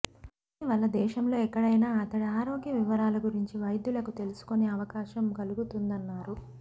దీని వల్ల దేశంలో ఎక్కడైనా అతడి ఆరోగ్య వివరాల గురించి వైద్యులకు తెలుసుకునే అవకాశం కలుగుతుందన్నారు